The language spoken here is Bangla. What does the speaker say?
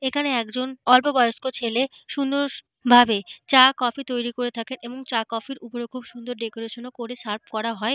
এখানে একজন অল্পবয়স্ক ছেলে সুন্দর ভাবে চা কফি তৈরি করে থাকে এবং চা কফি - র ওপরে খুব সুন্দর ডেকোরেশন - ও করে সার্ভ করা হয়।